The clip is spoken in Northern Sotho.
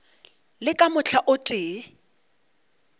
le ka mohla o tee